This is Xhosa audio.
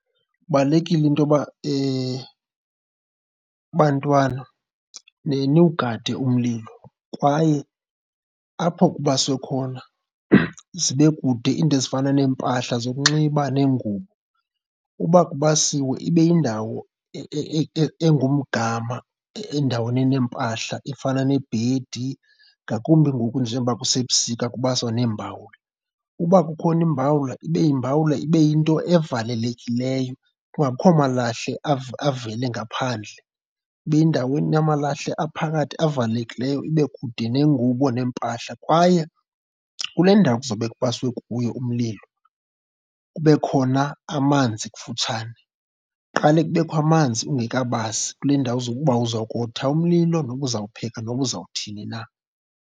Kubalulekile intoba bantwana niwugade umlilo kwaye apho kubaswe khona zibe kude iinto ezifana neempahla zokunxiba neengubo. Uba kubasiwe ibe yindawo engumgama endaweni neempahla efana nebhedi, ngakumbi ngoku njengoba kusebusika kubaswa neembawula. Uba kukhona imbawula, ibe yimbawula, ibe yinto evalekileyo kungabikho malahle avele ngaphandle. Ibe yindawo enamalahle aphakathi avalekileyo, ibe kude neengubo neempahla. Kwaye kule ndawo kuzawube kubaswe kuyo umlilo kube khona amanzi kufutshane. Kuqale kubekho amanzi ungekabasi kule ndawo uba uzawukotha umlilo noba uzawupheka noba uzawuthini na.